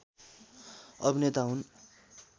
अभिनेता हुन्